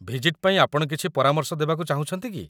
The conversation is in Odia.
ଭିଜିଟ୍ ପାଇଁ ଆପଣ କିଛି ପରାମର୍ଶ ଦେବାକୁ ଚାହୁଁଛନ୍ତି କି?